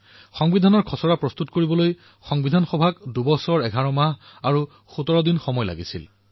সংবিধানৰ খচৰা প্ৰস্তুত কৰাৰ এই ঐতিহাসিক কাৰ্যক সম্পূৰ্ণ কৰাৰ বাবে সংবিধান সভাক ২ বছৰ ১১ মাহ আৰু ১৭ দিনৰ প্ৰয়োজন হৈছিল